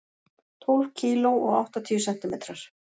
Tólf kíló og áttatíu sentimetrar.